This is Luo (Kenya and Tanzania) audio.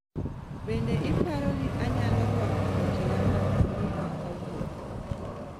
Bende ipaaro ni anyalo rwako wuochega mag slika kawuono